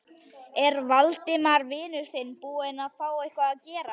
Er Valdimar vinur þinn búinn að fá eitthvað að gera?